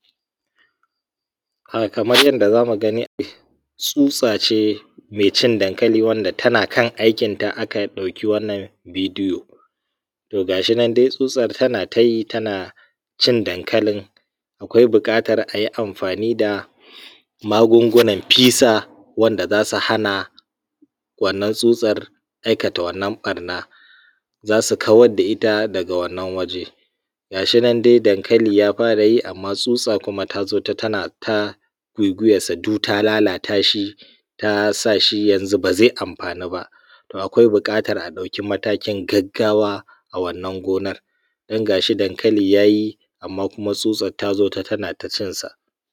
Kamar yadda za mu gani tsutsa ce mai cin dankali wanda tana kana aikinta aka ɗauki wannan bidiyo. To ga shi nan dai tsutsar tana yi tana cin dankalin akwai buƙatar a yi amfani da magungunan fisa wanda za su hana wannan tsutsar aikata wannan ɓarna za su kawadda ita daga wannan waje, ga shi nan dai dankali ya fara yi. Amma tsutsa kuma ta zo tana ta gwaigwuyansa du ta lalata shi, ta sa shi yanzu ba zai amfanu ba, akwai buƙatar a ɗauki matakin gaggawa a wannan gonar. Don ga shi dankali ya yi amma tsutsar ta zo tana ta cinsa